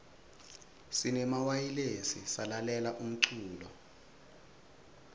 sinemawayilesi salalela umlulo